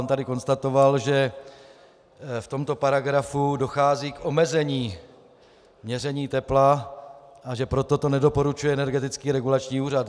On tady konstatoval, že v tomto paragrafu dochází k omezení měření tepla a že proto to nedoporučuje Energetický regulační úřad.